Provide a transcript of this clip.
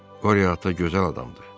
Qorio ata gözəl adamdır.